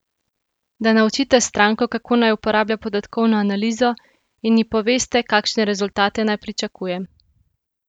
Da naučite stranko, kako naj uporablja podatkovno analizo, in ji poveste, kakšne rezultate naj pričakuje.